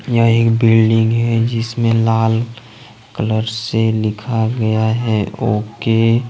यह एक बिल्डिंग है जिसमें लाल कलर से लिखा गया है ओ_के ।